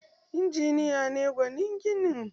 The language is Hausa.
Injiniya ne gwanin ginin